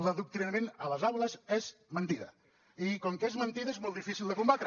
l’adoctrinament a les aules és mentida i com que és mentida és molt difícil de combatre